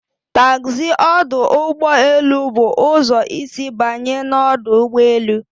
Taxi ọdụ ụgbọ elu bụ ụzọ isi banye na ọdụ ụgbọ elu